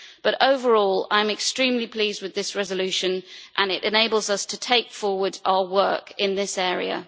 But overall I am extremely pleased with this resolution, and it enables us to take forward our work in this area.